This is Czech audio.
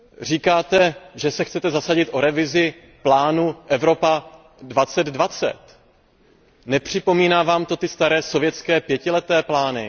Říkáte, že se chcete zasadit o revizi plánu Evropa 2020, nepřipomíná Vám to staré sovětské pětileté plány?